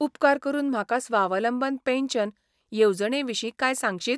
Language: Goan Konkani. उपकार करून म्हाका स्वावलंबन पॅन्शन येवजणे विशीं कांय सांगशीत?